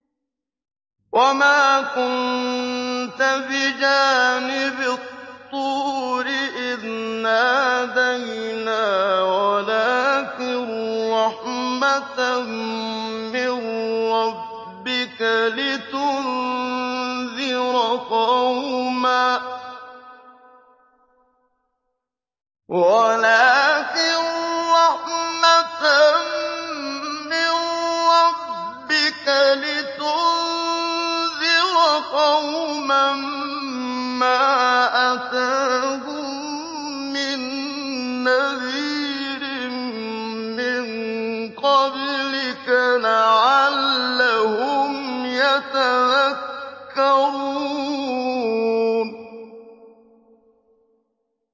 وَمَا كُنتَ بِجَانِبِ الطُّورِ إِذْ نَادَيْنَا وَلَٰكِن رَّحْمَةً مِّن رَّبِّكَ لِتُنذِرَ قَوْمًا مَّا أَتَاهُم مِّن نَّذِيرٍ مِّن قَبْلِكَ لَعَلَّهُمْ يَتَذَكَّرُونَ